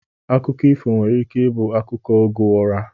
Akụkọ ifo nwere ike ibu akụkọ oge ụra